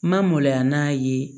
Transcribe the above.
Ma maloya n'a ye